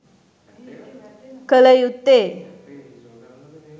කළ යුත්තේ